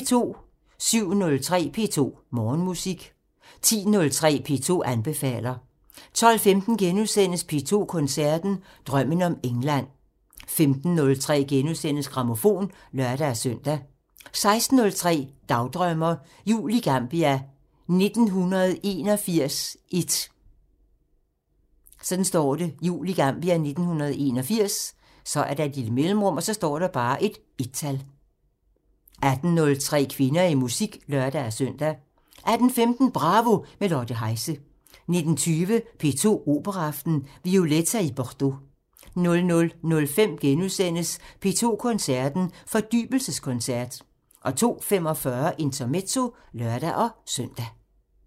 07:03: P2 Morgenmusik 10:03: P2 anbefaler 12:15: P2 Koncerten – Drømmen om England * 15:03: Grammofon *(lør-søn) 16:03: Dagdrømmer: Jul i Gambia 1981 1 18:03: Kvinder i musik (lør-søn) 18:15: Bravo – med Lotte Heise 19:20: P2 Operaaften – Violetta i Bordeaux 00:05: P2 Koncerten – Fordybelseskoncert * 02:45: Intermezzo (lør-søn)